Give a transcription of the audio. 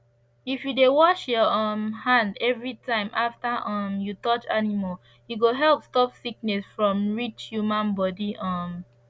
if you dey wash your um hand every time after um you touch animal e go help stop sickness from reach human body um